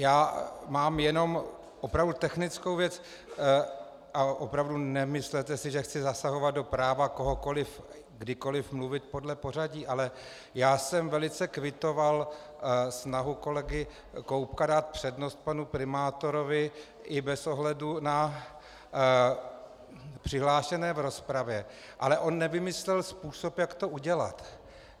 Já mám jenom opravdu technickou věc a opravdu, nemyslete si, že chci zasahovat do práva kohokoliv kdykoliv mluvit podle pořadí, ale já jsem velice kvitoval snahu kolegy Koubka dát přednost panu primátorovi i bez ohledu na přihlášené v rozpravě, ale on nevymyslel způsob, jak to udělat.